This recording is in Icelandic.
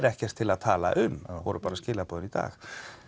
ekkert til að tala um það voru skilaboðin í dag